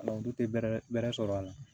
olu tɛ bɛrɛ bɛrɛ sɔrɔ a la